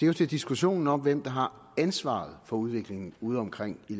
jo til diskussionen om hvem der har ansvaret for udviklingen udeomkring i